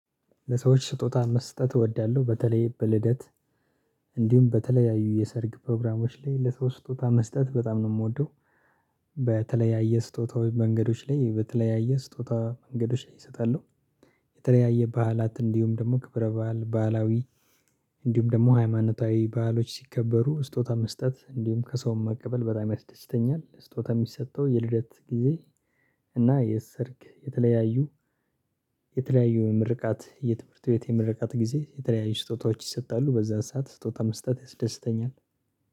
ለሰዎች ስጦታ መስጠት እወዳለሁ በተለይ በልደት እንዲሁም በተለያዩ የሰርግ ፕሮግራሞች ላይ ለሰው ስጦታ መስጠት በጣም ነው የምወደው። በተለያየ ስጦታዎች መንገዶች ላይ በተለያየ ስጦታ መንገዶች እሰጣለሁ። የተለያየ ባዕላት እንዲሁም ደግሞ ክብረ ባእል ባህላዊ እንዲሁም ደግሞ ሃይማኖታዊ ባዕሎች ሲከበሩ ስጦታ መስጠት እንዲሁም ከሰውም መቀበል በጣም ያስደስተኛል ስጦታ የሚሰጠው የልደት ጊዜ። እና የሰርግ የተለያዩ ምርቃት የትምህርት ቤት የምረቃት ጊዜ የተለያዩ ስጦታዎች ይሰጣሉ በዛን ሰዓት ስጦታ መስጠት ያስደስተኛል